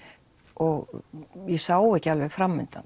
og ég sá ekki alveg